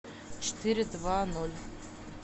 четыре два ноль